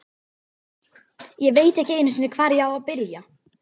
Ég veit ekki einu sinni, hvar ég á að byrja.